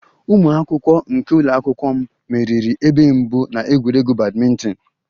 Ụmụ akwụkwọ nke ụlọ akwụkwọ m meriri ebe mbụ na egwuregwu badminton